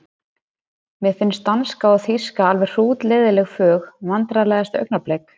Mér finnst danska og þýska alveg hrútleiðinleg fög Vandræðalegasta augnablik?